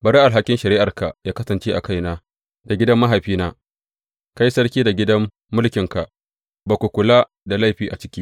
Bari alhakin shari’arka yă kasance a kaina da gidan mahaifina, kai sarki da gidan mulkinka, ba ku da laifi a ciki.